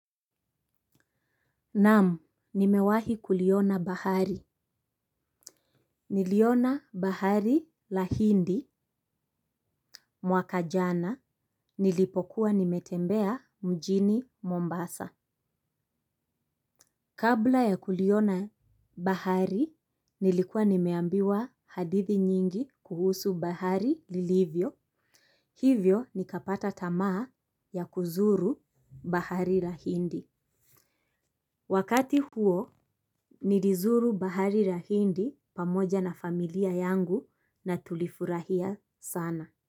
Naamu, nimewahi kuliona bahari. Niliona bahari la hindi mwaka jana, nilipokuwa nimetembea mjini Mombasa. Kabla ya kuliona bahari, nilikuwa nimeambiwa hadithi nyingi kuhusu bahari lilivyo. Hivyo, nikapata tamaa ya kuzuru bahari la hindi. Wakati huo nilizuru bahari ra hindi pamoja na familia yangu na tulifurahia sana.